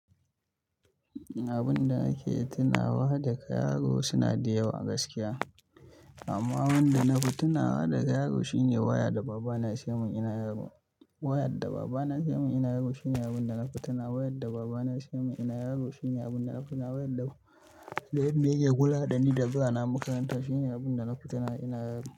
Abun da nake tunawa da karo suna da yawa gaskiya. Amma wanda na fi tunawa da yaro shine waya da baba na seya min ina yaro. Waya da baba na ya saya min ina yaro shine abun da na fi tunawa waya da baba na ya seya min ina yaro shine abun da na fi tunawa waya da. Da yadda yake koyar dani da zuwa na makaranta shine abun da na fi tunawa ina yaro.